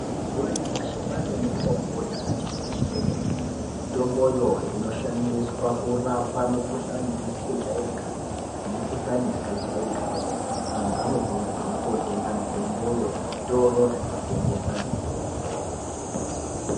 Mazuwa anyamashi kwaane mitombo yakati kuti kwemene. Mitomboyo inoshandiswa kurapa mikhuhlani isizi kujairikapi, nemikhuhlani yaakajairika kwemene. Antu anokurudzirwa kootenga mitomboyo kuzvitoro zvinotengesa mitombo.